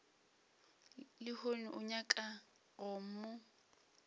lehono o nyaka go mo